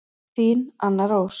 Þín Anna Rós.